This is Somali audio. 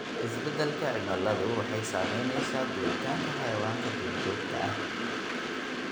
Isbeddelka cimiladu waxay saameynaysaa guuritaanka xayawaanka duurjoogta ah.